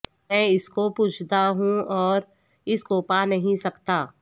میں اس کو پوجتا ہوں اور اس کو پا نہیں سکتا